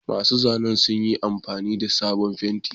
Masu zanen sun yi amfani da sabon fenti.